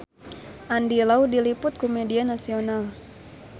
Andy Lau diliput ku media nasional